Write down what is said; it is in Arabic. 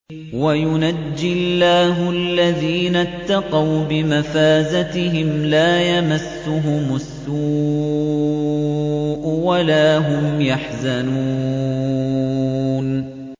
وَيُنَجِّي اللَّهُ الَّذِينَ اتَّقَوْا بِمَفَازَتِهِمْ لَا يَمَسُّهُمُ السُّوءُ وَلَا هُمْ يَحْزَنُونَ